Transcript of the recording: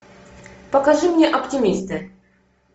покажи мне оптимисты